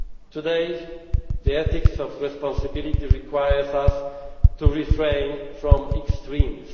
Weber. Today, the ethics of responsibility requires us to refrain from extremes.